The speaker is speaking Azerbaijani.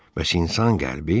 bəs insan qəlbi?